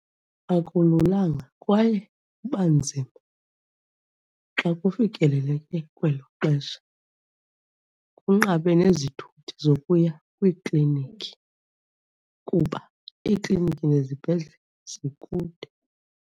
Akululanga kwaye kuba nzima xa kufikeleleke kwelo xesha, kunqabe nezithuthi zokuya kwiiklinikhi kuba iiklinikhi nezibhedlele zikude.